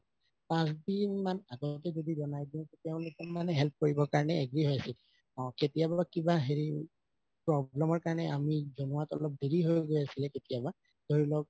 পাচঁ দিন মান আগতেটো যদি জনাই দিও তেওঁলোকে মানে help কৰিবৰ কাৰণে agree হয় আছিল অহ কেতিয়াবা হেৰি problem ৰ কাৰণে আমি জনোৱাত অলপ দেৰি হয় গৈ আছিলে কেতিয়াবা ধৰি লওঁক